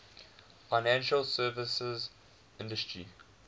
financial services industry